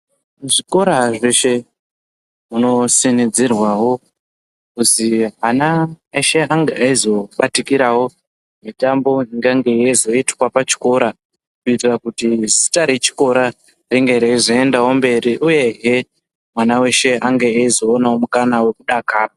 Muzvikora zvese muno sinidzirwawo kuzi ana eshe ange azobatikirawo mitambo ingange yezoitwa pachikora kutiira zita rechikora ringe reizoenda wo mberi uye hee mwana weshe ange eyi zowonawo mukana wekudakara.